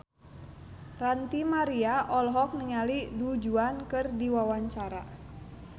Ranty Maria olohok ningali Du Juan keur diwawancara